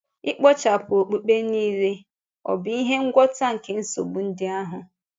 Ịkpochàpụ okpukpe niile ọ̀ bụ ihe ngwọta nke nsogbu ndị ahụ?